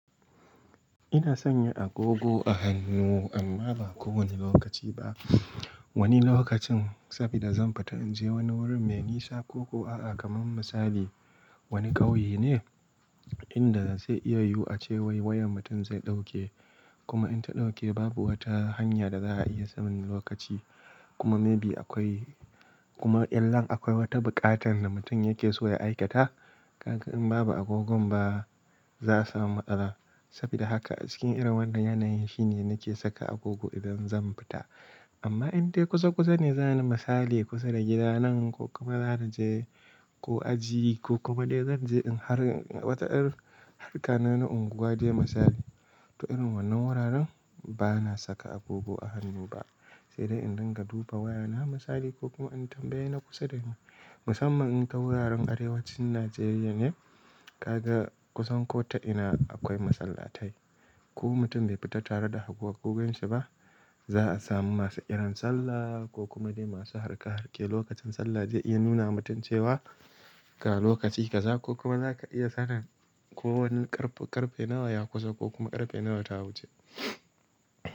Ina sanya agogo a hannu amma ba kowane lokaci ba. Wani lokacin saboda zan fita in je wani wurin me nisa ko kuwa kamar misali wani ƙauye ne inda zai iya yiwuwa cewan wayan mutum zai ɗauke kuma in ta ɗauke babu wata hanya da za'a iya samun lokaci kuma maybe akwai kuma idan akwai wata buƙatar da mutum yake so ya aikata, kaga in babu agogon ba za su samu matsala. Saboda haka a cikin irin wannan yanayin shine nake saka agogo idan zan fita. Amma idan kusa kusa ne, zani misali kusa da gida nan ko kuma zan je ko aji ko kuma dai zan je in har wata harƙa nawa na unguwa dai misali. To, irin wannan wuraren ba na saka agogo a hannu ba, sai dai in dinga duba wayana misali ko kuma in tambaye na kusa dani. Musamman in ta wuraren arewacin Najeriya ne, ka ga kusan ko ta'ina akwai masallatai. Ko mutum bai fita tare da agogoginsa ba, za'a samu masu ƙiran sallah ko kuma dai masu harka harke lokacin sallah zai iya nuna mutum cewa, "Ga lokaci ka za ko kuma za ka iya sakan ko wani ƙarfe nawa ya kusa ko kuma ƙarfe nawa ta wuce."